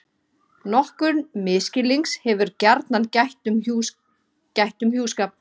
Nokkurs misskilnings hefur gjarnan gætt um hjúskap.